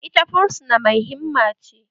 Ita fursuna mai himma ce